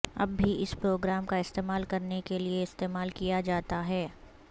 اب بھی اس پروگرام کا استعمال کرنے کے لئے استعمال کیا جاتا ہے